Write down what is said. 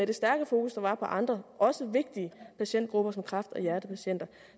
det stærke fokus der var på andre også vigtige patientgrupper som kræft og hjertepatienter